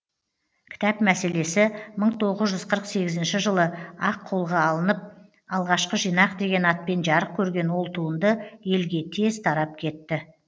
кітап мәселесі мың тоғыз жүз қырық сегізінші жылы ақ қолға алынып алғашқы жинақ деген атпен жарық көрген ол туынды елге тез тарап кетті